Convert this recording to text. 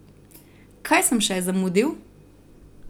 Kaj sem še zamudil?